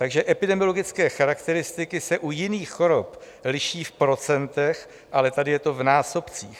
Takže epidemiologické charakteristiky se u jiných chorob liší v procentech, ale tady je to v násobcích.